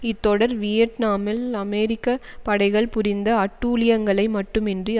இத்தொடர் வியட்நாமில் அமெரிக்க படைகள் புரிந்த அட்டூழியங்களை மட்டுமின்றி